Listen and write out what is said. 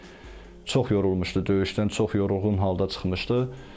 Çox yorulmuşdu döyüşdən, çox yorğun halda çıxmışdı.